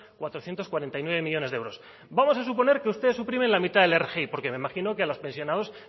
cuatrocientos cuarenta y nueve millónes de euros vamos a suponer que usted suprime la mitad de la rgi porque me imagino que a los pensionados